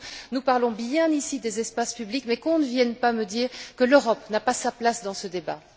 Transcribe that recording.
Nous parlons bien ici des espaces publics mais qu'on ne vienne pas me dire que l'Europe n'a pas sa place dans ce débat.